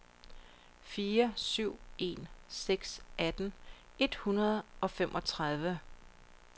fire syv en seks atten et hundrede og femogtredive